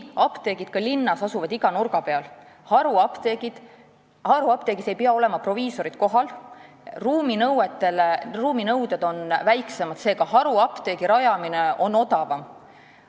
Apteegid asuvad küll linnas iga nurga peal, haruapteegis aga ei pea olema proviisorid kohal ja ruuminõuded on väiksemad, seega on haruapteegi rajamine odavam.